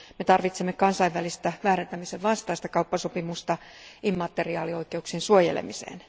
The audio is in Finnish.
Me tarvitsemme kansainvälistä väärentämisen vastaista kauppasopimusta immateriaalioikeuksien suojelemiseen.